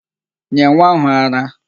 Nye nwa áhụ̀ ara!